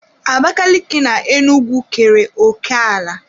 Abakaliki na Enugwu kere òké ala.